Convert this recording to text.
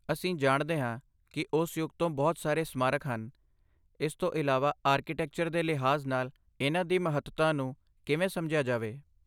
ਅਸੀਂ ਜਾਣਦੇ ਹਾਂ ਕਿ ਉਸ ਯੁੱਗ ਤੋਂ ਬਹੁਤ ਸਾਰੇ ਸਮਾਰਕ ਹਨ, ਇਸ ਤੋਂ ਇਲਾਵਾ ਆਰਕੀਟੈਕਚਰ ਦੇ ਲਿਹਾਜ਼ ਨਾਲ ਇਨ੍ਹਾਂ ਦੀ ਮਹੱਤਤਾ ਨੂੰ ਕਿਵੇਂ ਸਮਝਿਆ ਜਾਵੇ?